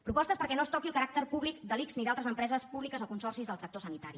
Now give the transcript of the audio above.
propostes perquè no es toqui el caràcter públic de l’ics ni d’altres empreses públiques o consorcis del sector sanitari